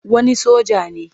Wani soja ne.